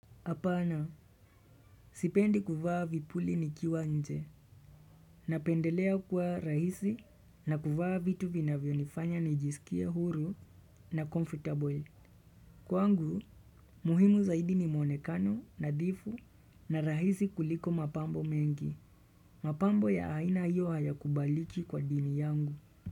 Apana, sipendi kuvaa vipuli ni kiwa nje, na pendelea kuwa rahisi na kuvaa vitu vinavyo nifanya ni jisikie huru na comfortable. Kwangu, muhimu zaidi ni mwonekano nadhifu na rahisi kuliko mapambo mengi. Mapambo ya aina hiyo hayakubaliki kwa dini yangu.